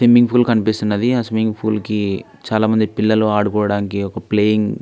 Swimming pool అనిపిస్తున్నది. ఆ swimming pool కి చాలామంది పిల్లలు ఆడుకోవడానికి ఒక ప్లేయింగ్--